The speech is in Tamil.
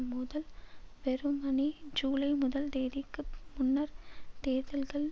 மோதல் வெறுமனே ஜூலை முதல் தேதிக்கு முன்னர் தேர்தல்கள்